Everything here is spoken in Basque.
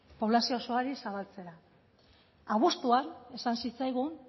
poblazio osoari zabaltzera abuztuan esan zitzaigun